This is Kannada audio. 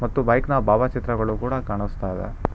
ಮತ್ತು ಬೈಕ್ ನ ಭಾವಚಿತ್ರಗಳು ಕೂಡ ಕಾಣಿಸ್ತಾ ಇದೆ.